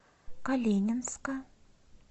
калининска